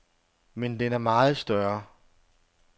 Men den er meget større.